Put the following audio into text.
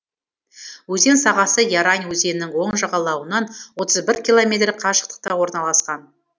өзен сағасы ярань өзенінің оң жағалауынан отыз бір километр қашықтықта орналасқан